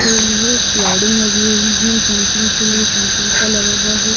के लिए स्लाइडिंग लगी हुई है जंपिंग के लिए जंपिंग का लगा हुआ है।